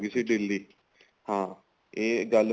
ਸੀ ਦਿੱਲੀ ਹਾਂ ਇਹ ਗੱਲ